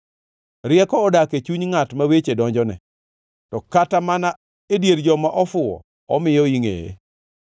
Rieko odak e chuny ngʼat ma weche donjone, to kata mana e dier joma ofuwo omiyo ingʼeye.